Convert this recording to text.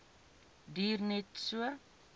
duur net so